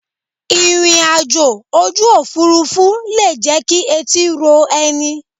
Ìrìn àjò ojú òfuurufú le jẹ́ kí etí ro ẹni.